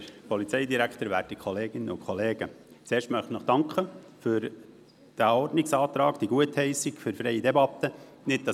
Zuerst möchte ich mich für die Annahme des Ordnungsantrags, der freie Debatte verlangte, bedanken.